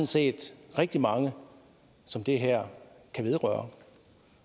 set rigtig mange som det her kan vedrøre